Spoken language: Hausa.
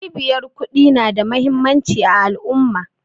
Cibiyar ƙudi na da muhimmanci a al'umma